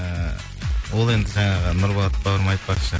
ііі ол енді жаңағы нұрболат бауырым айтпақшы